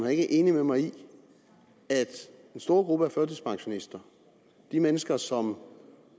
er enig med mig i at den store gruppe af førtidspensionister de mennesker som